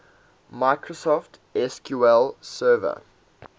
microsoft sql server